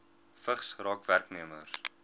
vigs raak werknemers